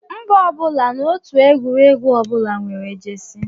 Mba ụwa na otu egwuregwu ọbụla nwere jesi